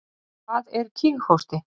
Hvað er kíghósti?